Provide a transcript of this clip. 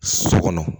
So kɔnɔ